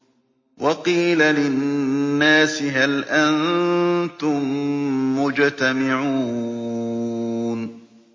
وَقِيلَ لِلنَّاسِ هَلْ أَنتُم مُّجْتَمِعُونَ